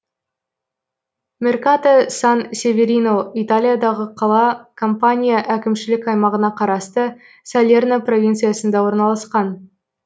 меркато сан северино италиядағы қала кампания әкімшілік аймағына қарасты салерно провинциясында орналасқан